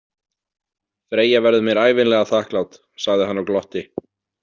Freyja verður mér ævinlega þakklát, sagði hann og glotti.